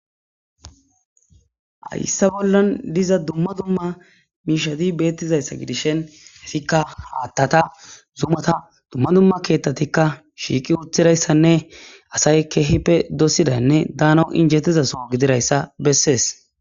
Haysse bollan diza dumma dumma miishadi beettizayssa gidishen hesikka haattata zumata dumma dumma keettatikka shiiqi uthirayssanne asay keehipe dossidanne daano injettizasoo gidirayssa bessees.